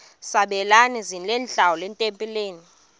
sabelani zenihlal etempileni